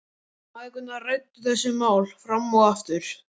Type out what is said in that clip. Mæðgurnar ræddu þessi mál fram og aftur.